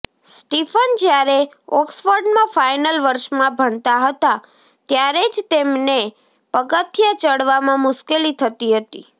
Stephen જ્યારે ઑક્સફર્ડમાં final વર્ષમાં ભણતા હતા ત્યારે જ તેમને પગથિયા ચડવામાં મુશ્કેલી થતી હતી